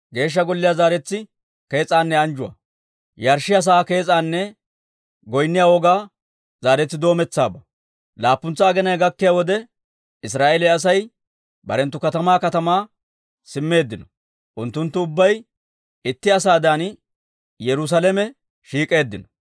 Laapuntsa aginay gakkiyaa wode Israa'eeliyaa Asay barenttu katamaa katamaa simmeeddino, unttunttu ubbay itti asaadan Yerusaalamen shiik'eeddino.